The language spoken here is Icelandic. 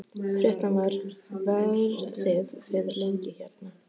Fréttamaður: Verðið þið lengi hérna?